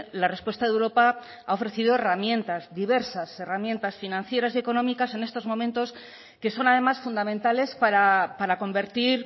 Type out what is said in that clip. la respuesta de europa ha ofrecido herramientas diversas herramientas financieras y económicas en estos momentos que son además fundamentales para convertir